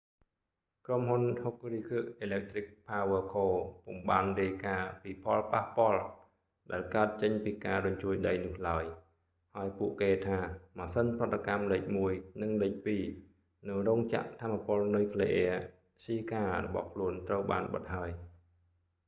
ក្រុមហ៊ុន hokuriku electric power co ពុំបានរាយការណ៍ពីផលប៉ះពាល់ ដែលកើតចេញពីការរញ្ជួយដីនោះឡើយ ហើយពួកគេថា ម៉ាស៊ីនប្រតិកម្មលេខ 1 និងលេខ 2 នៅរោងចក្រថាមពលនុយក្លេអ៊ែរស្ហ៊ីការបស់ខ្លួនត្រូវបានបិទហើយ